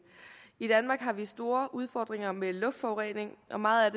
i danmark har vi store udfordringer med luftforurening og meget af